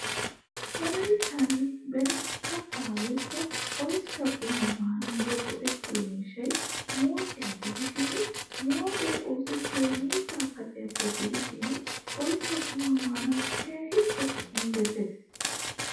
Wolayttan beni katta woykko oyssa quma maanawu go'ettiyo miishshay mooqiyaa gidishin mooqqe oosettiyoy miizza kacciyappe gidishin oyssa quma maanawu keehin injjettees.